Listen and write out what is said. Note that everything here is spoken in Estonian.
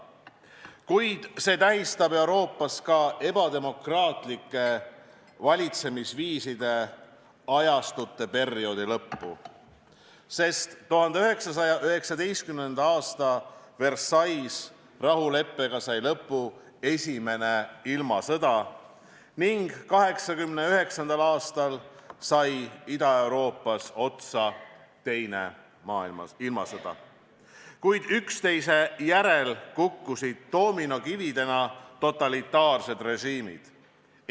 Kuid see tähistab Euroopas ka ebademokraatlike valitsemisviiside ajastu lõppu, sest 1919. aasta Versailles' rahuleppega sai lõpu esimene ilmasõda ning 1989. aastal sai Ida-Euroopas otsa teine ilmasõda, kui üksteise järel kukkusid doominokividena totalitaarsed režiimid.